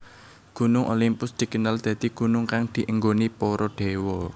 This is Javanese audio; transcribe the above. Gunung Olimpus dikenal dadi gunung kang dienggoni para déwa